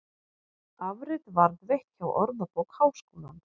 Afrit varðveitt hjá Orðabók Háskólans.